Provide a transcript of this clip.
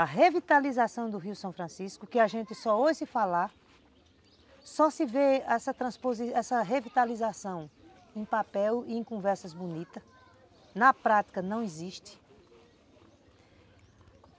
A revitalização do Rio São Francisco, que a gente só ouve falar, só se vê essa revitalização em papel e em conversas bonitas, na prática não existe.